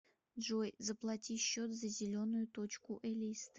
джой заплати счет за зеленую точку элисты